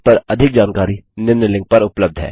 इस पर अधिक जानकारी निम्न लिंक पर उपलब्ध है